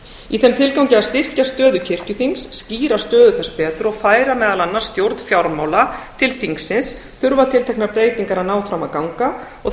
í þeim tilgangi að styrkja stöðu kirkjuþings skýra stöðu þess betur og færa meðal annars stjórn fjármála til þingsins þurfa tilteknar breytingar að ná fram að ganga og